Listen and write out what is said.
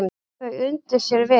Þau undu sér vel.